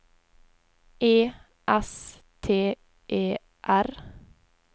E S T E R